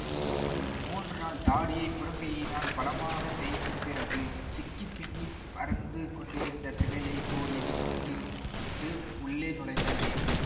மூன்று நாள் தாடியை புறக்கையினால் பலமாகத் தேய்த்துப் பிறகு சிக்கிப் பின்னிப் பறந்து கொண்டிருந்த சிகையைக் கோதி விட்டுட்டு உள்ளே நுழைந்தார் விபி